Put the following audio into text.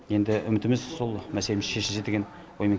енді үмітіміз сол мәселеміз шешілсе деген оймен